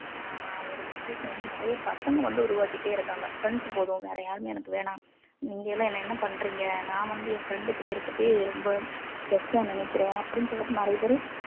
ஒரு situation வந்து நிறைய பசங்க வந்து உருவாக்கிட்டே இருக்காங்க friends போதும் வேற யாருமே எனக்கு வேணாம் நீங்க எல்லாம் என்னை என்ன பண்றீங்க நான் வந்து என் friend கூட இருக்கிறதே ரொம்ப best ஆ நினைக்கிறேன் அப்படின்னு சொல்லிட்டு நிறைய பேரு